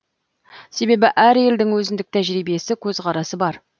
себебі әр елдің өзіндік тәжірибесі көзқарасы бар